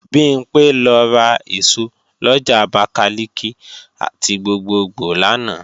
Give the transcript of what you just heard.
Bimpé lọ ra èso lọjà Abakalika ti gbogbogbò lánàá